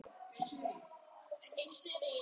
Högni, hvað er að frétta?